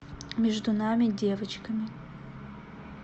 между нами девочками